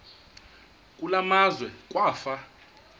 kule meazwe kwafa